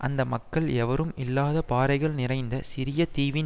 அந்த மக்கள் எவரும் இல்லாத பாறைகள் நிறைந்த சிறிய தீவின்